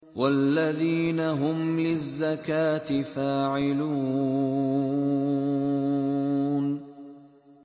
وَالَّذِينَ هُمْ لِلزَّكَاةِ فَاعِلُونَ